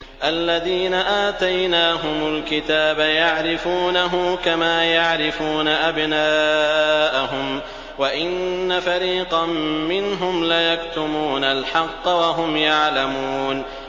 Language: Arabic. الَّذِينَ آتَيْنَاهُمُ الْكِتَابَ يَعْرِفُونَهُ كَمَا يَعْرِفُونَ أَبْنَاءَهُمْ ۖ وَإِنَّ فَرِيقًا مِّنْهُمْ لَيَكْتُمُونَ الْحَقَّ وَهُمْ يَعْلَمُونَ